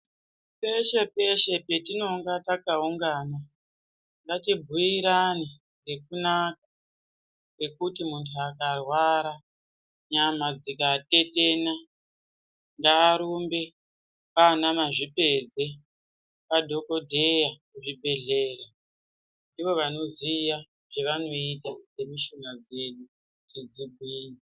Peshe-peshe petinonga takaungana ngatibhuirane zvekunaka kwekuti muntu akarwara nyama dzikatetena ngarumbe kwana mazvipedze kwadhogodheya kuzvibhedhleya. Ndivo vanoziya zvavanoita zvemushuna dzedu kuti dzigwinye.